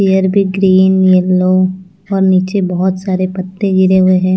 Green yellow और नीचे बहुत सारे पत्ते गिरे हुए हैं।